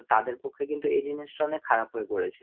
তাদের পক্ষে কিন্তু এই জিনিসটা অনেক খারাপ হয়ে পড়েছে।